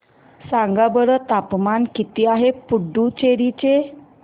सांगा बरं तापमान किती आहे पुडुचेरी चे